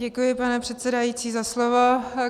Děkuji, pane předsedající, za slovo.